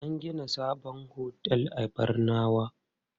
An gina sabon otel a Barnawa.